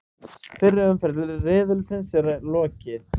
Fyrri umferð riðilsins er lokið